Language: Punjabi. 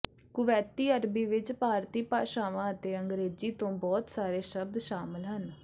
ਕੁਵੈਤੀ ਅਰਬੀ ਵਿਚ ਭਾਰਤੀ ਭਾਸ਼ਾਵਾਂ ਅਤੇ ਅੰਗਰੇਜ਼ੀ ਤੋਂ ਬਹੁਤ ਸਾਰੇ ਸ਼ਬਦ ਸ਼ਾਮਲ ਹਨ